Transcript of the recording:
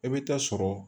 E bɛ taa sɔrɔ